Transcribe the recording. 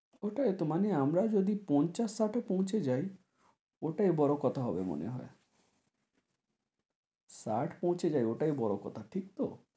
ওটাই তো মানে আমরা যদি পঞ্চাশ ষাটে পৌঁছে যাই ওটাই বড় কথা হবে মনে হয়। ষাট পৌঁছে যাই ওটাই বড় কথা, ঠিক তো?